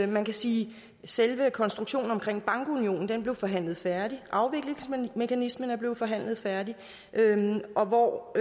man kan sige at selve konstruktionen omkring bankunionen blev forhandlet færdig afviklingsmekanismen er blevet forhandlet færdig og